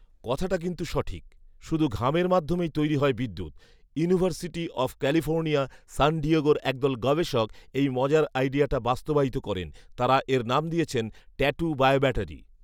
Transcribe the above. কথাটা কিন্তু সঠিক৷ শুধু ঘামের মাধ্যমেই তৈরি হয় বিদ্যুৎ৷ ইউনিভার্সিটি অফ ক্যালিফোর্নিয়া, সান ডিয়েগোর একদল গবেষক এই মজার আইডিয়াটা বাস্তবায়িত করেন৷ তাঁরা এর নাম দিয়েছেন ‘ট্যাটু বায়োব্যাটারি’৷